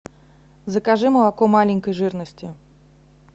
закажи молоко маленькой жирности